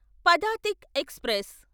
Padatik express